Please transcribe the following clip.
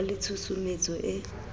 ka ba le tshusumetso e